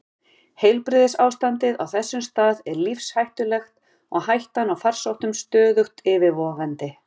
Heilbrigðisástandið á þessum stað er lífshættulegt og hættan á farsóttum stöðugt yfirvofandi.